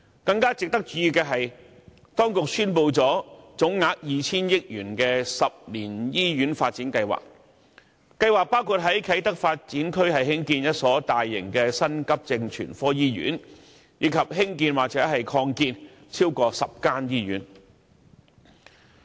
更值得注意的是，當局宣布了總額 2,000 億元的10年醫院發展計劃。計劃包括在啟德發展區增建一所大型的急症全科醫院，以及重建或擴建超過10間醫院。